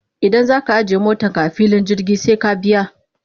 Idan za ka ajiye motarka a filin jirgi sai ka biya.